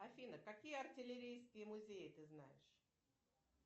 афина какие артиллерийские музеи ты знаешь